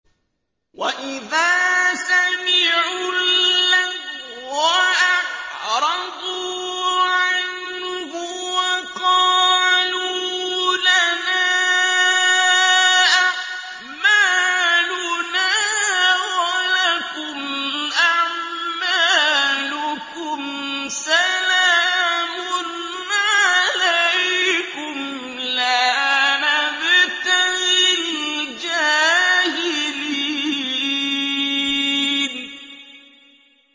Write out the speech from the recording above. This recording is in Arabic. وَإِذَا سَمِعُوا اللَّغْوَ أَعْرَضُوا عَنْهُ وَقَالُوا لَنَا أَعْمَالُنَا وَلَكُمْ أَعْمَالُكُمْ سَلَامٌ عَلَيْكُمْ لَا نَبْتَغِي الْجَاهِلِينَ